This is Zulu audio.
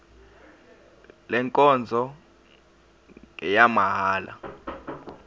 le nkonzo ngeyamahala